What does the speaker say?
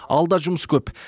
алда жұмыс көп